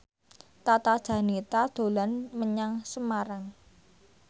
Tata Janeta dolan menyang Semarang